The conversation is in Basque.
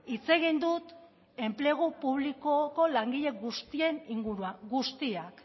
hitz egin dut enplegu publikoko langile guztien inguruan guztiak